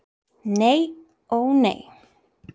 Nei, ó nei!